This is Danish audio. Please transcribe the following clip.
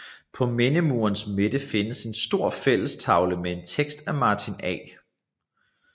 På mindemurens midte findes en stor fællestavle med en tekst af Martin A